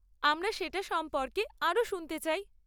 আমরা সেটা সম্পর্কে আরও শুনতে চাই।